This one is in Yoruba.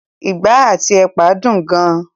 ìgbá àti ẹ̀pà dùn gan.